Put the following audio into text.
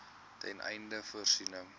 ten einde voorsiening